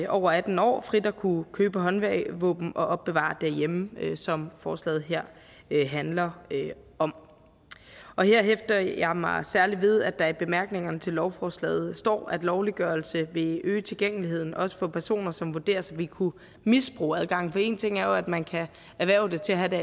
over atten år frit at kunne købe håndvåben og opbevare dem derhjemme som forslaget her handler om og her hæfter jeg mig særlig ved at der i bemærkningerne til lovforslaget står at lovliggørelse vil øge tilgængeligheden også for personer som vurderes at ville kunne misbruge adgangen for én ting er jo at man kan erhverve det til at have det